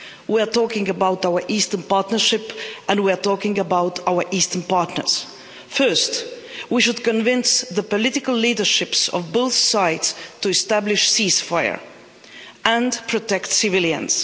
We are talking about our Eastern Partnership and we are talking about our eastern partners. First, we should convince the political leaderships of both sides to establish a ceasefire and protect civilians.